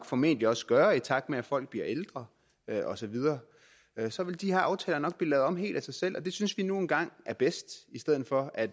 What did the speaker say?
formentlig også gøre i takt med at folk bliver ældre og så videre så vil de her aftaler nok lavet om helt af sig selv og det synes vi nu engang er bedst i stedet for at